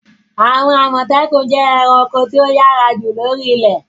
Àwọn Àmọ̀tẹ́kùn jẹ́ àwọn ẹranko tí ó yára jù lóri ilẹ̀.